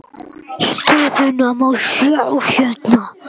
Stöðuna má sjá hérna.